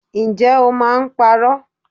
Ǹjẹ́ o máa ń parọ́?